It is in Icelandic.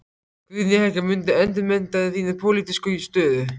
Guðný Helga: Muntu endurmeta þína pólitísku stöðu?